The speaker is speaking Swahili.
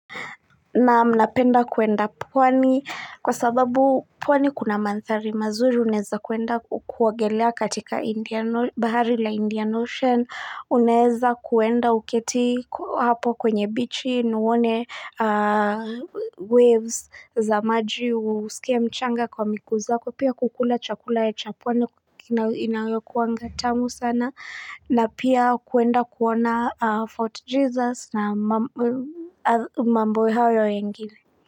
Naam napenda kuenda pwani kwa sababu pwani kuna mandhari mazuri unaeza kuenda kuogelea katika bahari la Indian Ocean unaeza kuenda uketi hapo kwenye bichi na uone waves za maji usikia mchanga kwa miguu zako pia kukula chakula ya cha pwani inakuanga tamu sana na pia kuenda kuona Fort Jesus na mambo hayo mengine.